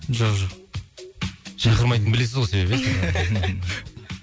жоқ шақырмайтынын білесіз ғой себебі ия